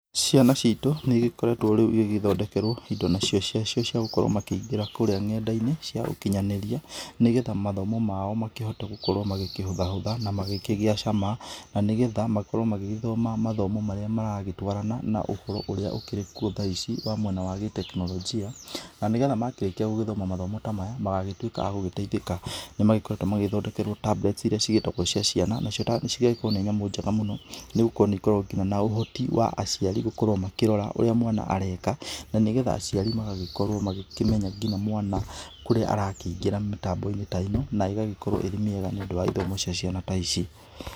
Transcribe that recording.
Ciana citũ nĩ ĩgĩkoretwo rĩu igĩgĩthondekerwo indo nacio cia cio ciagũkorwo makĩingĩra kũrĩa nenda-inĩ cia ũkĩnyanĩrĩa, nĩgetha mathomo mao makĩhote gũkorwo makĩhũtha hũtha na magĩkĩgĩa cama na nĩgetha makorwo magĩgĩthoma mathomo marĩa maragĩtwarana na ũhoro ũrĩa ũkĩrĩ kũo tha ici wa mwena wa gĩteknoronjia, na nĩgetha makĩrĩkĩa mathomo ta maya magagĩtuika magũteithĩka, nĩ makoretwo magĩthondekerwo tablet ĩrĩa cigĩtagwo cia ciana nacio cigakorwo nĩ thamũ njega mũno nĩgũkorwo nĩ ikoragwo na nginya ũhoti wa aciari gũkorwo makĩrora ũrĩa mwana areka nĩgetha aciari magakorwo makĩmenya ngĩnya mwana kũrĩa arakĩingĩra mĩtambo-inĩ ta ino na ĩgagĩkorwo ĩrĩ mĩega nĩ ũndũ wa ithomo cia ciana ta ici.